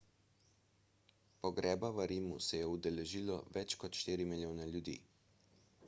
pogreba v rimu se je udeležilo več kot štiri milijone ljudi